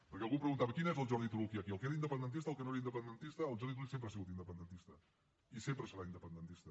perquè algú em preguntava quin és el jordi turull que hi ha aquí el que era independentista el que no era independentista el jordi turull sempre ha sigut independentista i sempre serà independentista